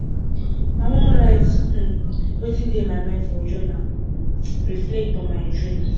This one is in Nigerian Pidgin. i wan write um wetin dey my mind for journal um reflect on my dreams